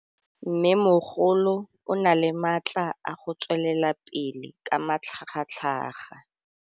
Mmêmogolo o na le matla a go tswelela pele ka matlhagatlhaga.